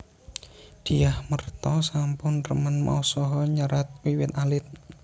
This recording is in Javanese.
Dyah Merta sampun remen maos saha nyerat wiwit alit